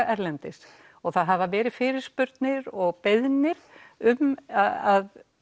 erlendis og það hafa verið fyrirspurnir og beiðnir um að